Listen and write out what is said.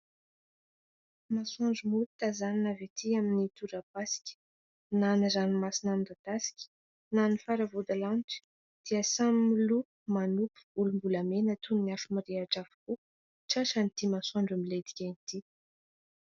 Masoandro mody tazanina avy aty amin'ny torapasika. Na ny ranomasina midadasika na ny faravodilanitra dia samy miloko manopy volombolamena toy ny afo mirehitra avokoa tratran'ity masoandro miletika ity.